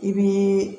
I bi